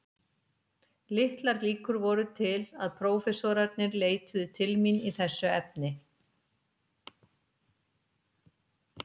Litlar líkur voru til að prófessorarnir leituðu til mín í þessu efni.